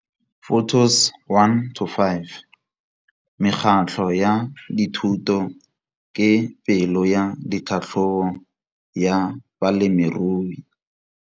Photos 1 to 5. Mekgatlho ya dithuto ke pelo ya tlhatlhobo ya balemirui.